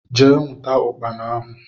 Jee nwụta ukpana ahụ!!